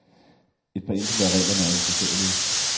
Et par enkelte af reglerne er uforståelige.